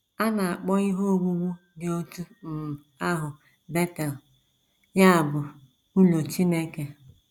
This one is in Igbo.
A na - akpọ ihe owuwu dị otú um ahụ Betel, ya bụ, ‘ Ụlọ Chineke. ’”